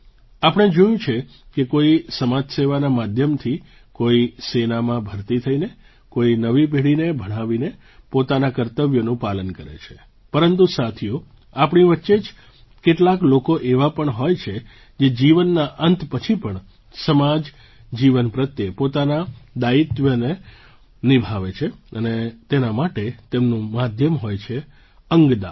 આપણે જોયું છે કે કોઈ સમાજસેવાના માધ્યમથી કોઈ સેનામાં ભરતી થઈને કોઈ નવી પેઢીને ભણાવીને પોતાનાં કર્તવ્યોનું પાલન કરે છે પરંતુ સાથીઓ આપણી વચ્ચે જ કેટલાક લોકો એવા પણ હોય છે જે જીવનના અંત પછી પણ સમાજ જીવન પ્રત્યે પોતાનાં દાયિત્વને નિભાવે છે અને તેના માટે તેમનું માધ્યમ હોય છે અંગદાન